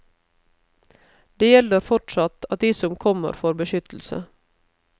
Det gjelder fortsatt at de som kommer får beskyttelse.